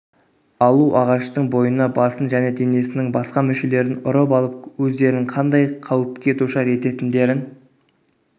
алу ағаштың бойына басын және денесінің басқа мүшелерін ұрып алып өздерін қандай қауіпке душар ететіндерін